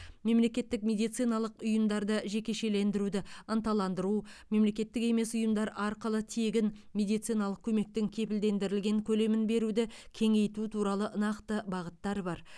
мемлекеттік медициналық ұйымдарды жекешелендіруді ынталандыру мемлекеттік емес ұйымдар арқылы тегін медициналық көмектің кепілдендірілген көлемін беруді кеңейту туралы нақты бағыттар бар